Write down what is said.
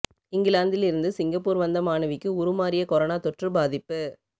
இஙகிலாந்தில் இருந்து சிங்கப்பூர் வந்த மாணவிக்கு உருமாறிய கொரோனா தொற்று பாதிப்பு